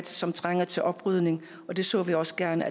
som trænger til oprydning og det så vi også gerne